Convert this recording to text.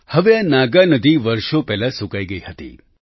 હવે આ નાગાનધી વર્ષો પહેલાં સૂકાઈ ગઈ હતી